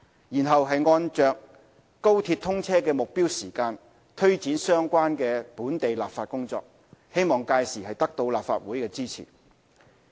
然後，按着高鐵通車的目標時間，推展相關的本地立法工作，希望屆時得到立法會的支持。